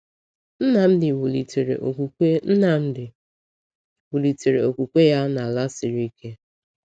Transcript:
Nnamdi wulitere okwukwe Nnamdi wulitere okwukwe ya n’ala siri ike.